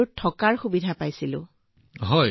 তাত বহুতো সুবিধা উপলব্ধ আছিল চাৰ